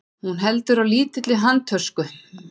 Hún heldur á lítilli handtösku.